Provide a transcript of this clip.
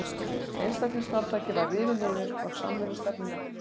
Einstaklingsframtakið var rifið niður og samvinnustefnunni hampað.